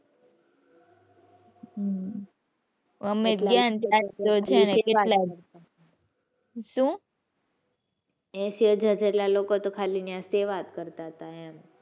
અમે ગયા ને . શું એસી હજાર જેટલા લોકો તો ખાલી ઇયાં સેવા જ કરતાં હતા એમ.